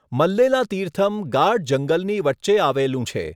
મલ્લેલા તીર્થમ ગાઢ જંગલની વચ્ચે આવેલું છે.